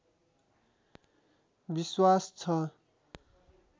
विश्वास छ